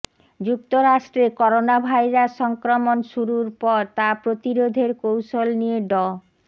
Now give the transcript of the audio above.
যুক্তরাষ্ট্রে করোনাভাইরাস সংক্রমণ শুরুর পর তা প্রতিরোধের কৌশল নিয়ে ড